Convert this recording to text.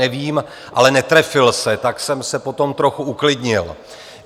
Nevím, ale netrefil se, tak jsem se potom trochu uklidnil.